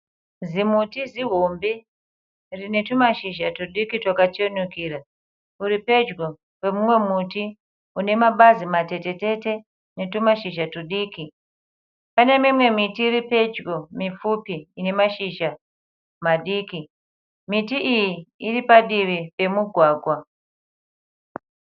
Zimuti zihombe rinetumashizha tudiki twakachenukira uri pedyo pomumwe muti une mabazi matetetete netumashizha tudiki. Pane mimwe miti iri pedyo mipfupi ine mashizha madiki. Miti iyi iri padivi pemugwagwa.